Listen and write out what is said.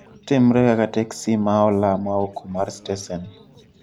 Timre kaka teksi ma ola ma oko ma stesen